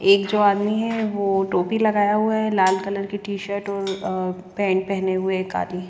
एक जो आदमी है वो टोपी लगाया हुआ है लाल कलर की टीशर्ट और अः पेंट पह ने हुए एक आदमी।